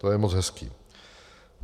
To je moc hezké.